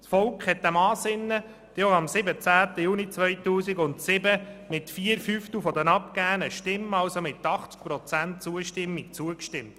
Das Volk hat diesem Ansinnen am 17. Juni 2007 mit 80 Prozent der abgegebenen Stimmen zugestimmt.